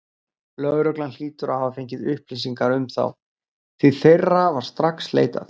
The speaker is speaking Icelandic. Lögreglan hlýtur að hafa fengið upplýsingar um þá, því þeirra var strax leitað.